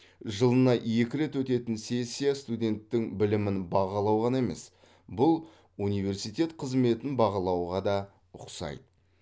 жылына екі рет өтетін сессия студенттің білімін бағалау ғана емес бұл университет қызметін бағалауға да ұқсайды